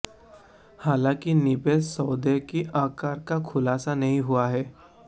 हालांकि निवेश सौदे के आकार का खुलासा नहीं हुआ है